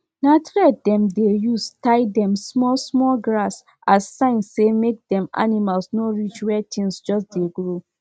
if you milk cow with dirty hand e go make the milk dirty and e go quick spoil. go quick spoil.